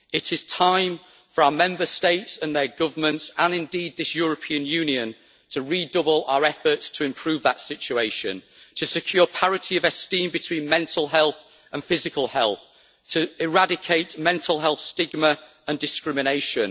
It is time for our Member States and their governments, and indeed this European Union, to redouble our efforts to improve that situation, to secure parity of esteem between mental health and physical health and to eradicate mental health stigma and discrimination.